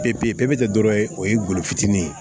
Pepe tɛ dɔ wɛrɛ o ye golo fitini ye